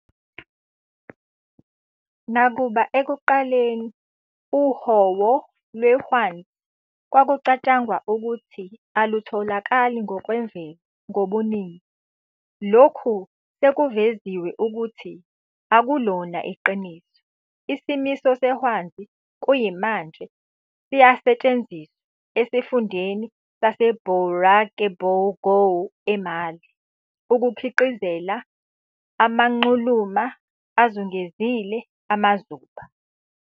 Nakuba ekuqaleni uhowo lwehwanzi kwakucatshangwa ukuthi alutholakali ngokwemvelo ngobuningi, lokhu sekuveziwe ukuthi akulona iqiniso, isimiso sehwanzi kuyimanje siyasetshenziswa esifundeni saseBourakebougou, eMali, ukukhiqizela amanxuluma azungezile amazuba.